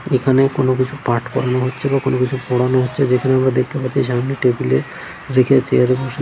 এখানে কোন কিছু পাঠ করানো হচ্ছে বা কোন কিছু পড়ানো হচ্ছে যেখানে আমরা দেখতে পাচ্ছি সামনে টেবিল এ রেখে চেয়ার এ বসে --